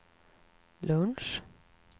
lunch